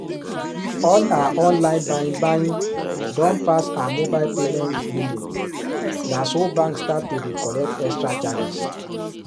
all her online buying buying don pass heer mobile payment limit naso bank start to dey collect extra charges